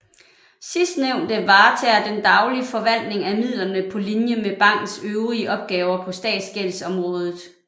Sidstnævnte varetager den daglige forvaltning af midlerne på linje med bankens øvrige opgaver på statsgældsområdet